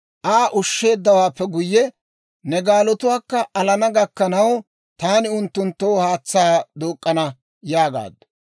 Aa ushsheeddawaappe guyye, «Ne gaalatuwaakka alana gakkanaw taani unttunttoo haatsaa duuk'k'ana» yaagaaddu.